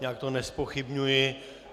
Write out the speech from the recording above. Já to nezpochybňuji.